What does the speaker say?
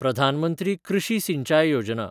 Pradhan Mantri Krishi Sinchai Yojana